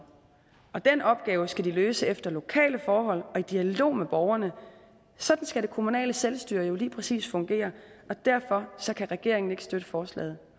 den opgave skal de løse efter lokale forhold og i dialog med borgerne sådan skal det kommunale selvstyre jo lige præcis fungere derfor kan regeringen ikke støtte forslaget